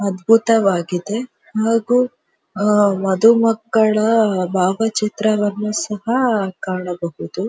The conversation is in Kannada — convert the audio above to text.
ಅದ್ಬುತವಾಗಿದೆ ಹಾಗು ವಧು ಮಕ್ಕಳ ಬಾವಚಿತ್ರವನ್ನು ಸಹ ಕಾಣಬಹುದು.